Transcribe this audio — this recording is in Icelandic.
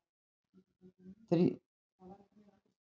Þrýstikraftur togar loftið inn að lægð.